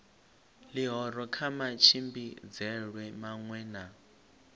ḽihoro kha matshimbidzelwe maṅwe na